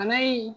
Bana in